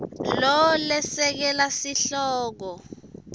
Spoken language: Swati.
lo lesekela sihloko